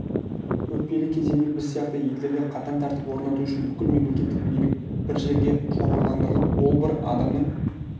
өтпелі кезеңде біз сияқты елдерде қатаң тәртіп орнату үшін бүкіл мемлекеттік билік бір жерге шоғырландырылып ол бір адамның